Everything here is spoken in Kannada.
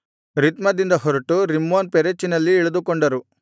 ರಿತ್ಮದಿಂದ ಹೊರಟು ರಿಮ್ಮೋನ್ ಪೆರೆಚಿನಲ್ಲಿ ಇಳಿದುಕೊಂಡರು